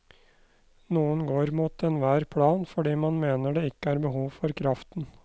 Noen går mot enhver plan fordi man mener det ikke er behov for kraften.